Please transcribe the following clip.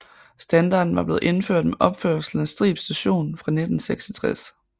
Standarden var blevet indført med opførelsen af Strib Station fra 1866